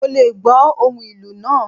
Mo lé gbò ohún ìlú naa